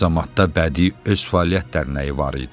Qazamatda Bədii öz fəaliyyətlər dərnəyi var idi.